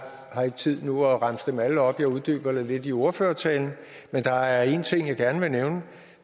har ikke tid nu til at remse dem alle op jeg uddyber det lidt i min ordførertale men der er en ting jeg gerne vil nævne og